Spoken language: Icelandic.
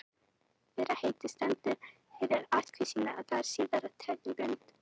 Fyrra heitið stendur fyrir ættkvíslina en það síðara táknar tegundarheitið.